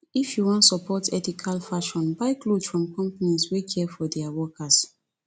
if you wan support ethical fashion buy cloth from companies wey care for dia workers